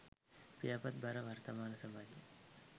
පියාපත් බර වර්තමාන සමාජයේ